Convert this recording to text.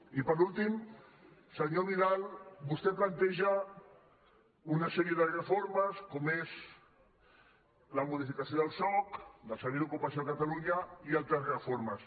i per últim senyor vidal vostè planteja una sèrie de reformes com són la modificació del soc del servei d’ocupació de catalunya i altres reformes